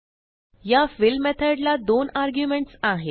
या फिल मेथडला दोन आर्ग्युमेंट्स आहेत